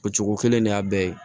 O cogo kelen de y'a bɛɛ ye